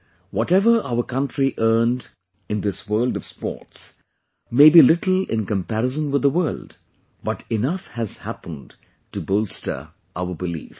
Whatever our country earned in this world of Sports may be little in comparison with the world, but enough has happened to bolster our belief